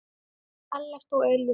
Ellert og Elín.